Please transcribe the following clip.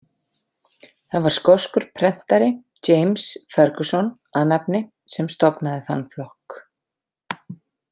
Það var skoskur prentari, James Ferguson að nafni, sem stofnaði þann flokk.